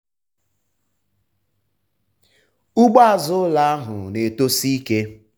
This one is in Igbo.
ugbo azụ ụlọ ahụ na-eto si ike.